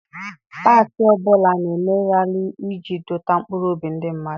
Pati ọbụla na-eme rali iji dọta mkpụrụobi ndị mmadụ.